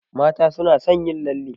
Mata suna son yin lalle